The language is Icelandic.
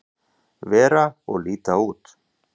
vera og líta út.